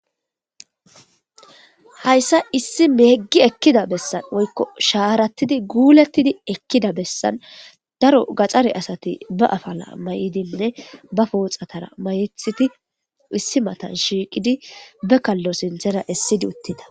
hayssa issi meeggi ekkida bessan woykko shaarattidi guulettidi ekkida bessan daro gaxxare asati ba afala may7idinne ba pooxatara mayethiti issi matan shiiqidi be kallo sinthera issidi uttida